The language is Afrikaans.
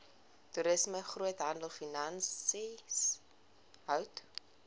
toerisme groothandelfinansies hout